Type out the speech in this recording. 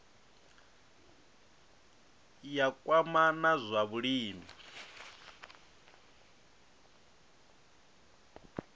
ya kwama na zwa vhulimi